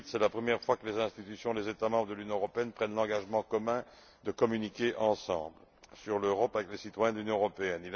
2008. C'est la première fois que les institutions des États membres de l'Union européenne prennent l'engagement commun de communiquer ensemble sur l'Europe avec les citoyens de l'Union européenne.